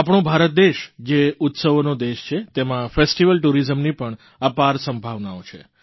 આપણો ભારત દેશ જે ઉત્સવોનો દેશ છે તેમાં ફેસ્ટિવલ tourisamની પણ અપાર સંભાવનાઓ છે